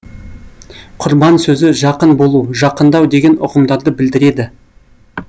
құрбан сөзі жақын болу жақындау деген ұғымдарды білдіреді